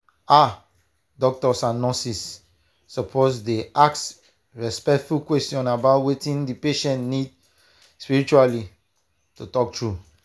ah doctors and nurses suppose dey ask respectful questions about wetin the patient need spiritually to talk true.